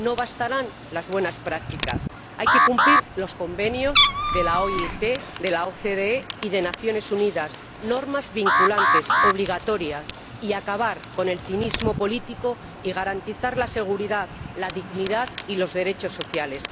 No bastarán las buenas prácticas, hay que cumplir los convenios de la OIT, de la OCDE y de las Naciones Unidas, normas vinculantes obligatorias, y acabar con el cinismo político y garantizar la seguridad, la dignidad y los derechos sociales.